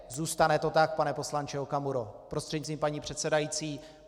Zůstane to tak, pane poslanče Okamuro prostřednictvím paní předsedající.